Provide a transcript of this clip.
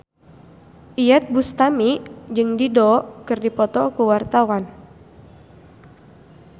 Iyeth Bustami jeung Dido keur dipoto ku wartawan